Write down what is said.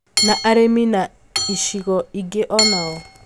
Na arĩmi na icigo ingĩ onao?